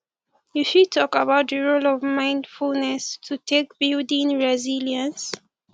you fit talk about di role of mindfulness to take building resilience